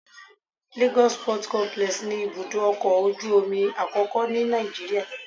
Lagos Port Complex ni ibùdó ọkọ̀ ojú omi àkọ́kọ́ ni Nàìjíríà